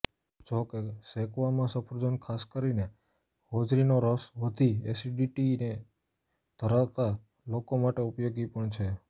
જોકે શેકવામાં સફરજન ખાસ કરીને હોજરીનો રસ વધી એસિડિટીએ ધરાવતા લોકો માટે ઉપયોગી પણ છે